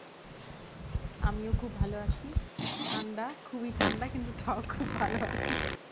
আমিও খুব ভালো আছি। ঠান্ডা, খুবই ঠান্ডা কিন্তু তাও খুব ভাল আছি।